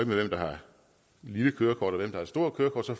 med hvem der har lille kørekort og hvem der har stort kørekort så